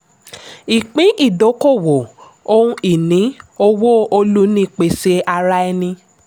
ìpín-ìdókòwò = ohun ìní - owó - olùnípèsè ara ẹni.